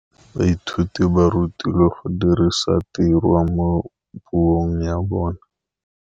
Baithuti ba rutilwe go dirisa tirwa mo puong ya bone.